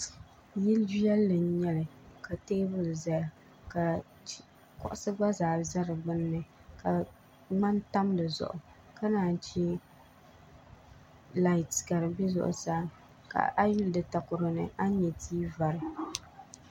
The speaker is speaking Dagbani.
Yil' viɛlli n-nyɛ li ka teebuli zaya ka kuɣisi gba za di gbuni ka ŋmani tam di zuɣu ka naanyi che laati ka di be zuɣusaa ka a yuli di takoro ni a ni nya tia vari